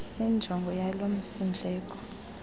injongo yalo msindleko